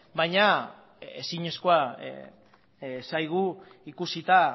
baina ezinezkoa zaigu ikusita